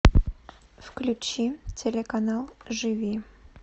включи телеканал живи